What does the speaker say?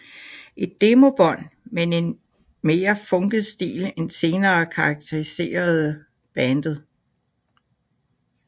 Et demobånd med en mere funket stil end senere karakteriserede bandet